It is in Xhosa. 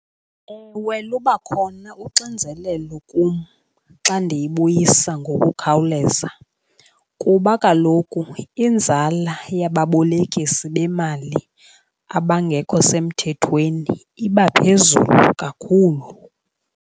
Ewe, luba khona uxinzelelo kum xa ndiyibuyisa ngokukhawuleza, kuba kaloku inzala yababolekisi bemali abangekho semthethweni iba phezulu kakhulu.